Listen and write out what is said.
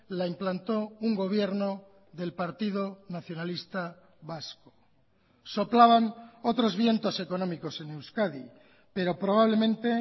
la implantó un gobierno del partido nacionalista vasco soplaban otros vientos económicos en euskadi pero probablemente